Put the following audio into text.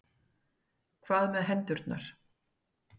Hvað með hendurnar?